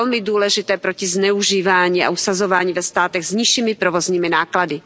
To je velmi důležité proti zneužívání a usazování ve státech s nižšími provozními náklady.